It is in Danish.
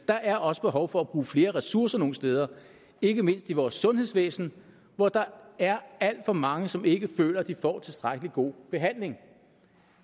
der er også behov for at bruge flere ressourcer nogle steder ikke mindst i vores sundhedsvæsen hvor der er alt for mange som ikke føler de får tilstrækkelig god behandling